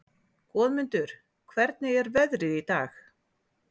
Goðmundur, hvernig er veðrið í dag?